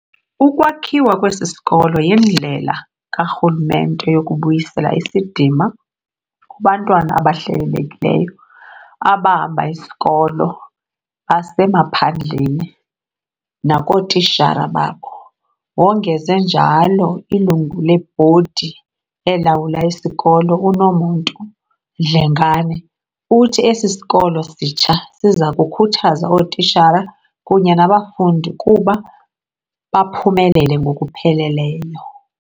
"Ukwakhiwa kwesi sikolo yindlela karhulumente yokubuyisela isidima kubantwana abahlelelekileyo abahamba isikolo basemaphandleni nakootishala babo," wongeze njalo. Ilungu lebhodi elawula isikolo, uNomuntu Dlengane, uthi esi sikolo sitsha siza kukhuthaza ootishala kunye nabafundi kuba baphumelele ngokupheleleyo.